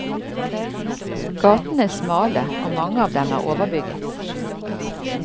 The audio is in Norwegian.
Gatene er smale og mange av dem er overbygget.